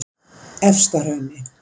Efstahrauni